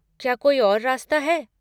क्या कोई और रास्ता है?